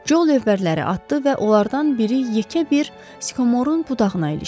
Jo lövbərləri atdı və onlardan biri yekə bir skomorun budağına ilişdi.